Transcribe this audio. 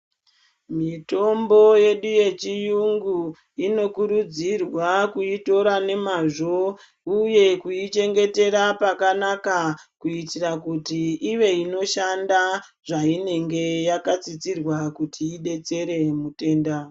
Mitombo yedu yechiyungu inokurudzirwa kuitora nemazvo uye kuichengetera pakanaka kuitira kuti ive inoshanda zvainenge yakatsidzirwa kuti ibetsere mutenda .